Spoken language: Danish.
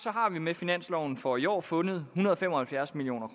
med finansloven for i år fundet en hundrede og fem og halvfjerds million